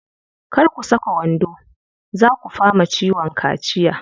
Kar ku saka wando, zaa ku fama ciwon kaciya.